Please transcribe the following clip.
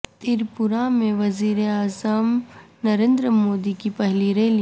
تریپورا میں وزیر اعظم نریندر مودی کی پہلی ریلی